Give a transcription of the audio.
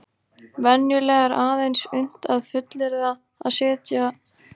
Venjulega er aðeins unnt að fullyrða að setlögin séu yngri eða eldri en aldursákvarðaða storkubergið.